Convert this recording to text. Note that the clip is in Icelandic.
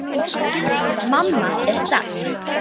Mamma er sterk.